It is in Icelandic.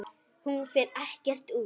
Hún fer ekkert út!